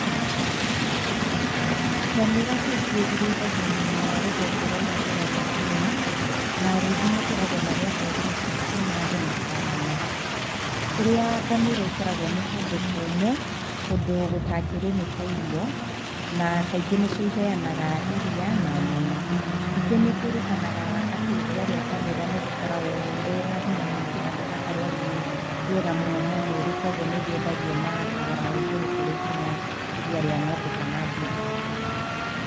Ngamĩra kaingĩ irĩithagio mwena wa rũgongo rwa irathĩro rwa Kenya na arĩithi makoragwo marĩ a ndũrĩrĩ cia cumarĩ na borana, kũrĩa ngamĩra ikoragwo nĩ kũndũ kũmũ kũndũ gũtangĩrĩmĩka irio na kaingĩ nĩcio iheanaga iria na nyama, ningĩ nĩ kwĩrĩkanaga atĩ iria rĩa ngamĩra nĩrĩkoragwo rĩna hinya mũingĩ na rĩgakorwo rĩ rĩega mũno he mwĩrĩ kwoguo nĩrĩendagia na thogora wa igũru kũrĩ nginya iria rĩa ng'ombe kana mbũri.